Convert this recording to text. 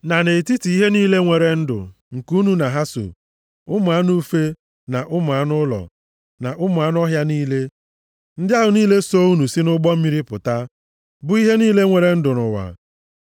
na nʼetiti ihe niile nwere ndụ nke unu na ha so, ụmụ anụ ufe, na ụmụ anụ ụlọ, na ụmụ anụ ọhịa niile, ndị ahụ niile so unu si nʼụgbọ mmiri pụta, bụ ihe niile nwere ndụ nʼụwa.